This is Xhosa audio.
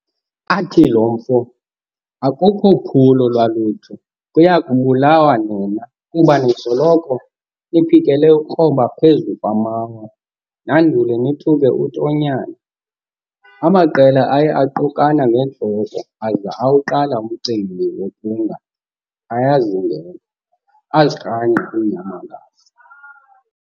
Athi lo mfo, "Akukho phulo lwalutho, kuya kubulawa nina, kuba nisoloko niphikele ukukroba phezu kwamawa nandule nithuke uTonyane.". Amaqela aye aqukana ngeentloko, aza awuqala umcimbi wokunga ayazingela, azirhangqa iinyamakazi.